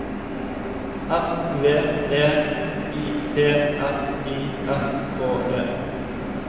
S V E I T S I S K E